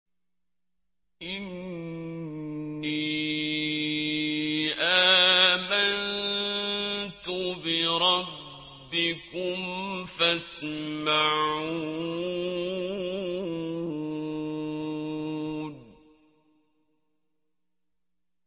إِنِّي آمَنتُ بِرَبِّكُمْ فَاسْمَعُونِ